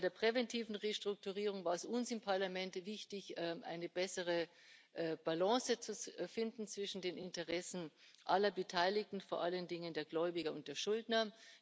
Bei der präventiven Restrukturierung war es uns im Parlament wichtig, eine bessere Balance zu finden zwischen den Interessen aller Beteiligten, vor allen Dingen der Gläubiger und der Schuldner.